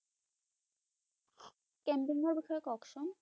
Camping ৰ বিষয়ে কওকচোন